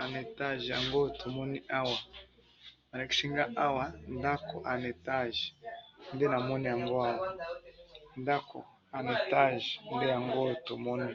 en étage yango oyo tomoni awa, balakisi nga awa, ndako en étage nde namoni yango awa, ndako en étage nde yango oyo tomoni.